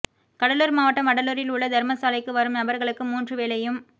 கடலுார் மாவட்டம் வடலூரில் உள்ள தரும சாலைக்கு வரும் நபர்களுக்கு மூன்று வேளையும்